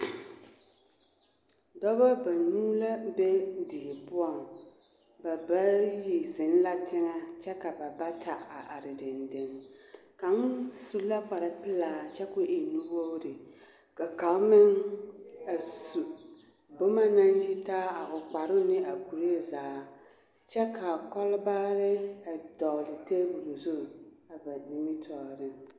Dɔbɔ banuu la be die poɔŋ ba bayi zeŋ la teŋɛ kyɛ ka ba bata a are dendeŋ kaŋ su la kpare pelaa kyɛ k'o e nu-wogori ka kaŋ meŋ a su boma naŋ yitaa a o kparoŋ ne a o kuree zaa kyɛ ka kɔlbaare a vɔgele teebol zu a ba nimitɔɔreŋ.